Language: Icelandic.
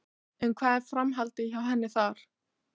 En hvað er framhaldið hjá henni þar?